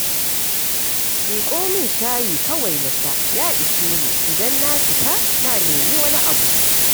Miƙo min shayi kawai na sha, ya ishe ni. Idan na fita na nemi wani abu